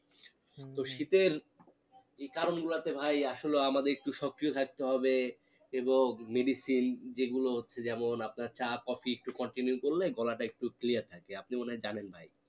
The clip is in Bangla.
তো শীতের এই কারণ গুলোতে ভাই আসলে আমাদের একটু সক্রিয় থাকতে হবে এবং medicine যে গুলো হচ্ছে যেমন আপনা চা কফি continue করলে গলাটা একটু clear থাকে আপনি মনে হয় জানেন ভাই